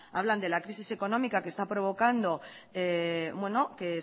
hablan de la crisis económica que está provocando que